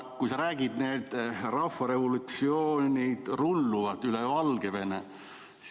Sa räägid nüüd, et rahvarevolutsioon rullub üle Valgevene.